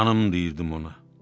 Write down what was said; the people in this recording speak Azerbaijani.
canım deyirdim ona.